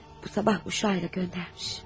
Bu sabah uşağa ilə göndərmiş.